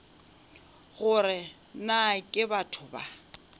gore na ke batho ba